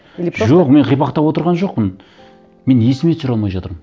или просто жоқ мен қипақтап отырған жоқпын мен есіме түсіре алмай жатырмын